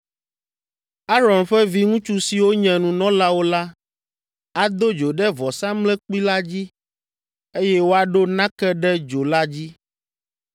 Aron ƒe viŋutsu siwo nye nunɔlawo la ado dzo ɖe vɔsamlekpui la dzi, eye woaɖo nake ɖe dzo la dzi.